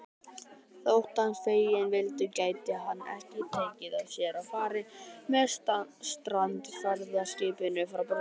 Þótt hann feginn vildi gæti hann ekki tekið sér fari með strandferðaskipinu frá Borgarnesi.